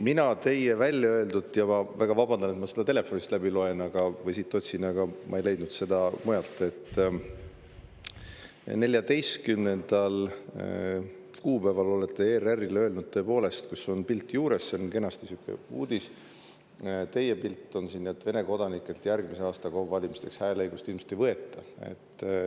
Mina teie seda väljaöeldut – ma väga vabandan, et ma seda telefonist otsin – ei leidnud mujalt kui siit, kus te 14. kuupäeval olete ERR‑ile tõepoolest öelnud – pilt on juures, see on sihuke uudis, teie pilt on ka siin –, et Vene kodanikelt järgmise aasta KOV‑ide valimisteks hääleõigust ilmselt ei võeta.